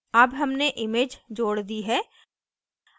अब हमने image जोड़ दी है